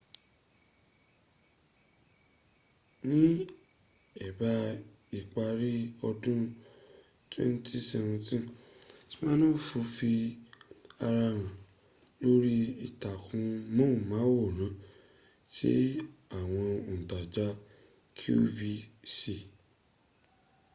ni eba ipari odun 2017 siminoff fi ara han lori itakun mohun maworan ti awon ontaja qvc